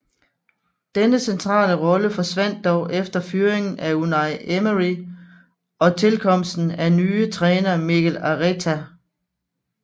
Denne centrale rolle forsvandt dog efter fyringen af Unai Emery og tilkomsten af nye træner Mikel Arteta